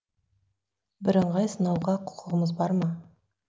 бірыңғай сынауға құқығымыз бар ма